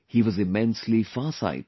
He was immensely far sighted